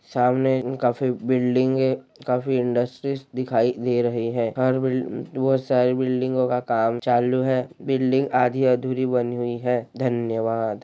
सामने काफी बिल्डिंगे काफी इंडस्ट्रीज दिखाई दे रही है हर बिल बहुत सारी बिडलिंगो का काम चालू है बिल्डिंग आधी अधूरी बनी हुई है धन्यवाद।